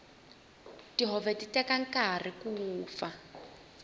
tihove ti teka nkarhi ku vupfa